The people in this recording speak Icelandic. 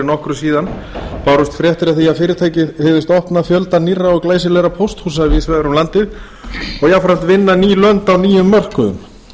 nokkru síðan bárust fréttir af því að fyrirtækið hygðist opna fjölda nýrra og glæsilegra pósthúsa víðs vegar um landið og jafnframt vinna ný lönd á nýjum mörkuðum